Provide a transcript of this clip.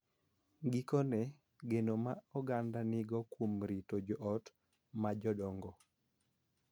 Gikone, geno ma oganda nigo kuom rito jo ot ma jodongo